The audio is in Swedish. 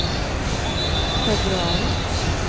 februari